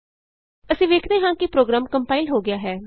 ਅਸੀਂ ਵੇਖਦੇ ਹਾਂ ਕਿ ਪ੍ਰੋਗਰਾਮ ਕੰਪਾਇਲ ਹੋ ਗਿਆ ਹੈ